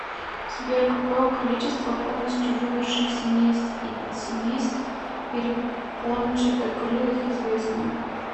сбер какое количество полностью вымерших семейств и подсемейств перепончатокрылых известно